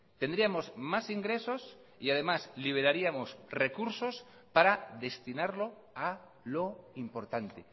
tendríamos más ingresos y además liberaríamos recursos para destinarlo a lo importante